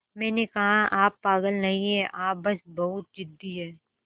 मैंने कहा आप पागल नहीं हैं आप बस बहुत ज़िद्दी हैं